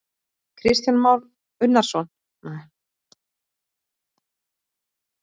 Kristján Már Unnarsson: Eru, eru þau betri en lömbin annarsstaðar?